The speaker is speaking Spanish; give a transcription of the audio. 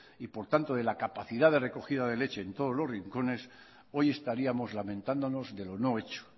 y por tanto de la capacidad de recogida de leche en todos los rincones hoy estaríamos lamentándonos de lo no hecho